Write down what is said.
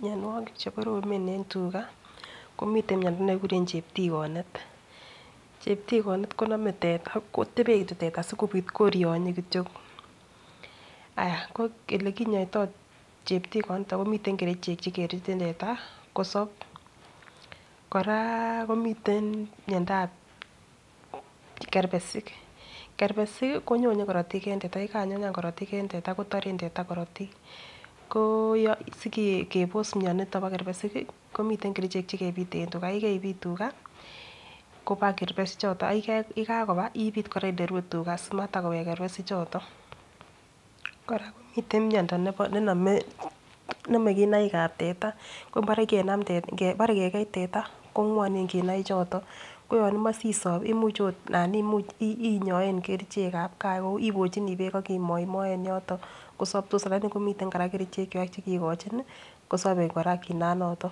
Mianwagik chekoromen en tuga komiten mianwagik chekekuren cheptiganet cheptiganet koname teta kotebie teta sikorionye kityo akolekinyoito cheptikot niton komiten kerchek chekerutin teta sikosab kora komiten miando ab kermesik ,kerbesik konyoyen karatik en teta ak yekanyonyan korotik en teta kotarenbteta korotik kosikebos mianiton ba kermesik komiten kerchek chekebuten tuga akoyekaibit tuga Koba kerbesik choton ak yekakoba ibit olerue tuga simawek kerbesik choton koraa komiten miando nename kinaik ab teta Kinare Kenan kegei teta kongwanen kinai choton koyanimae sisob ananimuch inyaen kerchek ab gaa ibochini bek akimoymochi yoton kosabtos akomitenbkora kerchek chekekochin kosabe kinan noton